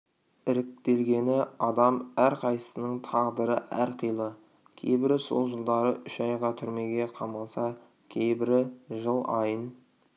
іріктелгені адам әрқайсысының тағдыры әрқилы кейбірі сол жылдары үш айға түрмеге қамалса кейбірі жыл айын